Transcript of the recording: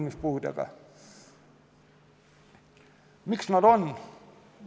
Miks see nii on?